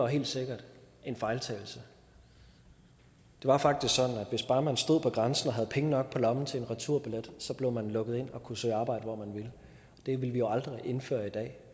helt sikkert en fejltagelse det var faktisk sådan at hvis bare man stod ved grænsen og havde penge nok på lommen til en returbillet blev man lukket ind og kunne søge arbejde hvor man ville det ville vi jo aldrig indføre i dag